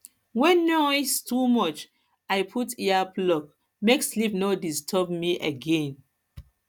when noise too much i put earplugs make sleep no disturb me again